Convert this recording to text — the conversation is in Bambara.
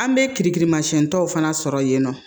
An bɛ kirikirimasiɲɛn dɔw fana sɔrɔ yen nɔ